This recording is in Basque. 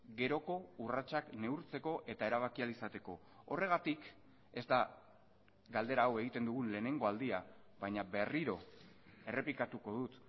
geroko urratsak neurtzeko eta erabaki ahal izateko horregatik ez da galdera hau egiten dugun lehenengo aldia baina berriro errepikatuko dut